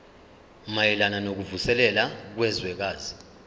mayelana nokuvuselela kwezwekazi